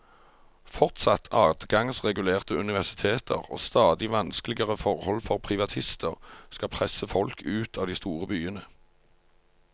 Fortsatt adgangsregulerte universiteter og stadig vanskeligere forhold for privatister skal presse folk ut av de store byene.